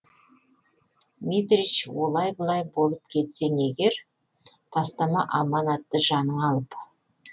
митрич олай бұлай болып кетсең егер тастама аманатты жаныңа алып